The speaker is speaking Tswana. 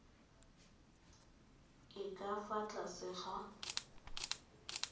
e ka fa tlase ga